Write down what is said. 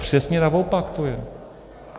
Přesně naopak to je!